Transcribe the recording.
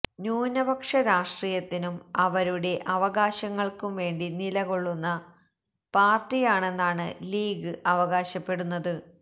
ന്യൂനപക്ഷ രാഷ്ട്രീയത്തിനും അവരുടെ അവകാശങ്ങള്ക്കും വേണ്ടി നിലകൊള്ളുന്ന പാര്ട്ടിയാണെന്നാണ് ലീഗ് അവകാശപ്പെടുന്നത്